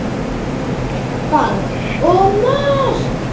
Bang og mark!